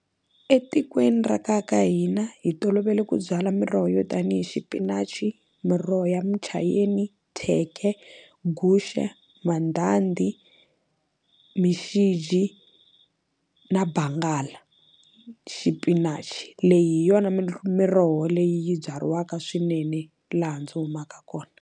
Etikweni ra ka hina hi tolovele ku byala miroho yo tanihi xipinachi miroho ya muchayini thyeke guxe ra mandhandhi mixiji na bangala xipinachi leyi hi yona miroho leyi byariwaka swinene laha ndzi humaka kona.